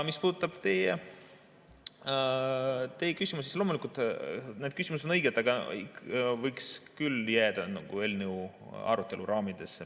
Mis puudutab teie küsimust, siis loomulikult, need küsimused, mis te esitasite, on õiged, aga võiks küll jääda selle eelnõu arutelu raamidesse.